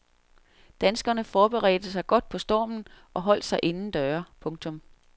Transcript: Danskerne forberedte sig godt på stormen og holdt sig inden døre. punktum